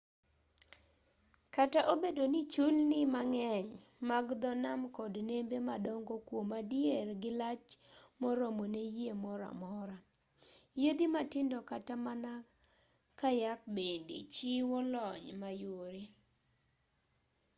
kata obedo ni chulni mang'eny mag dho nam kod nembe madongo kwom adier gilach moromo ne yie moro amora yiedhi matindo kata mana kayak bende chiwo lony mayore